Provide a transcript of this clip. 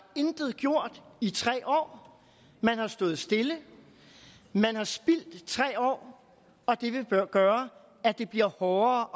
intet gjort i tre år man har stået stille man har spildt tre år og det vil gøre at det bliver hårdere